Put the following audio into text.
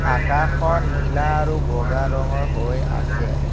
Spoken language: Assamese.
আকাশখন নীলা আৰু বগা ৰঙৰ হৈ আছে।